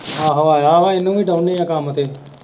ਆਹੋ ਆਇਆ ਹੈ ਉਹਨੂੰ ਵੀ ਕਹਿੰਦੇ ਹੈ ਕੰਮ ਤੇ।